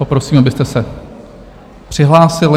Poprosím, abyste se přihlásili.